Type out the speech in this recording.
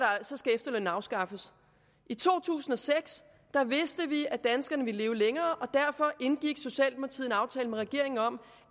efterlønnen afskaffes i to tusind og seks vidste vi at danskerne ville leve længere og derfor indgik socialdemokratiet en aftale med regeringen om